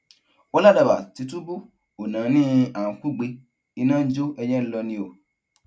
ó ládàbà tìtùbù ò náání à ń kúgbe iná ń jó ẹyẹ ń lọ ni o